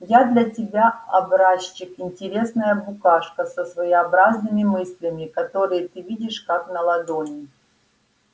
я для тебя образчик интересная букашка со своеобразными мыслями которые ты видишь как на ладони